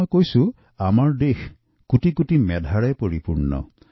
মই প্ৰায়েই কওঁ যে আমাৰ দেশ কোটি কোটি মেধাৱী লোকেৰে পূৰ্ণ